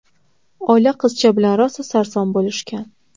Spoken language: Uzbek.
Oila qizcha bilan rosa sarson bo‘lishgan.